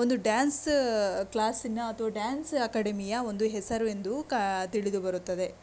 Dance ಕ್ಲಾಸಿನ ಅಥವಾ ಒಂದು ಡಾನ್ಸ್ ಅಕಾಡೆಮಿಯ ಹೆಸರು ಎಂದು ತಿಳಿದುಬರುತ್ತದೆ.